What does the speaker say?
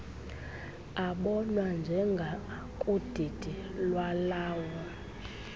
abonwa njengakudidi lwalawo